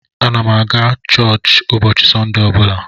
M na-aga Churchka ụbọchị Sọnde ọ bụla.